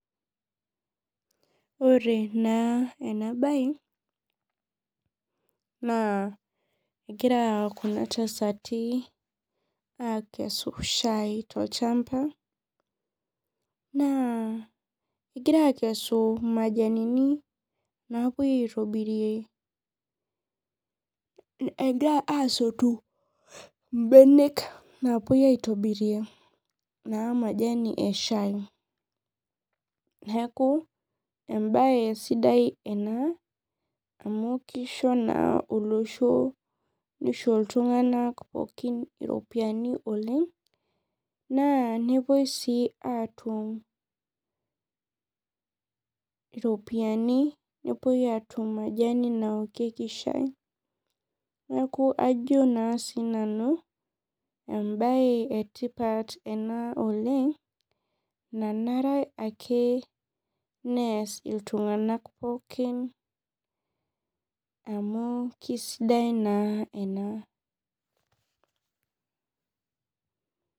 Ore na enabae na egira kunabtasati akesu shai tolchamba na egira akesu majanini napuoi aitobirie, egirai asotu mbenek napuoi aitobirie na majanu eshai neakuvembae. Sidai ena amu kisho na olosho misho ltunganak iropiyiani oleng na napuoi atum iropiyani nepuoi atum majani naokieki shai neaku ajo na sinanu embae etipat ena oleng nanre akeneas ltunganak pookin amu keasidai na ena.